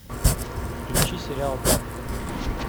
включи сериал папик